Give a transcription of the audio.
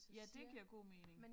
Ja det giver god mening